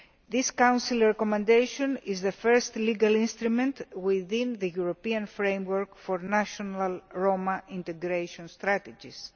This Council recommendation is the first legal instrument within the European framework for national Roma integration strategies.